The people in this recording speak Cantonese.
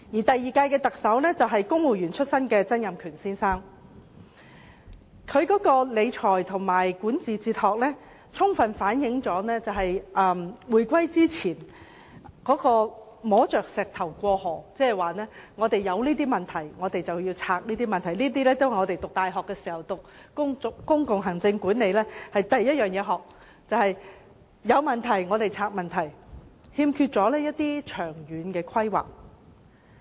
第二屆特首是公務員出身的曾蔭權先生，他的理財和管治哲學充分反映，香港在回歸前是摸着石頭過河，遇到甚麼問題便拆解甚麼問題，這也是我們在大學修讀公共行政管理時的第一課，但曾先生欠缺長遠規劃。